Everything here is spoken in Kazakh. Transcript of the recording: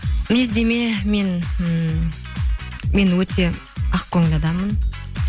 мінездеме мен м мен өте ақкөңіл адаммын